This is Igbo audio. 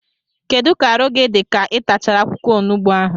Kedụ ka arụ gị dị ka ị tachara akwụkwọ onugbu ahụ?